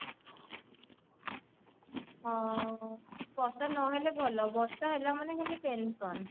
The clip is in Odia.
ହଁ ବର୍ଷା ନହେଲେ ଭଲ ବର୍ଷା ହେଲା ମାନେ ଖାଲି tension